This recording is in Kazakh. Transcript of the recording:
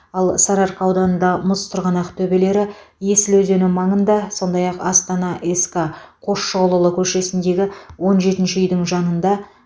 ал сарыарқа ауданында мұз сырғанақ төбелері есіл өзені маңында сондай ақ астана ск қосшығұлұлы көшесіндегі он жетінші үйдің жанында